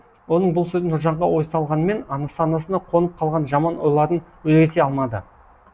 оның бұл сөздері нұржанға ой салғанымен санасына қонып қалған жаман ойларын өзгерте алмады